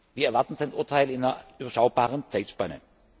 Wir erwarten sein Urteil in einer überschaubaren Zeitspanne.